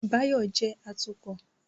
Báyọ̀ jẹ́ atukọ̀